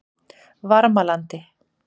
Varmalandi